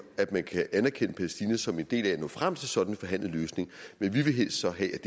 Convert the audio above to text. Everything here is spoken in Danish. at man kan anerkende palæstina som en del af at nå frem til en sådan forhandlet løsning men vi vil så helst